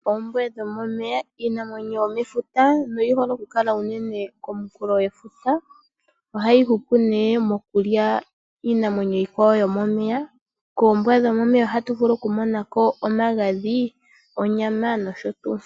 Oombwa dho momeya iinamwenyo yomefuta oyi hole okukala unene komuhulo gwefuta. Ohayi hupu ne mokulya iinamwenyo iikwawo yomomeya. Koombwa dhomeya ohatu vulu okumona ko omagadhi, onyama nosho tuu.